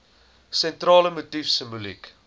sentrale motief simboliek